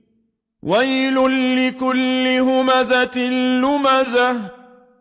وَيْلٌ لِّكُلِّ هُمَزَةٍ لُّمَزَةٍ